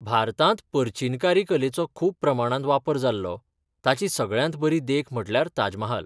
भारतांत पर्चिनकारी कलेचो खूब प्रमाणांत वापर जाल्लो, ताची सगळ्यांत बरी देख म्हटल्यार ताज महाल.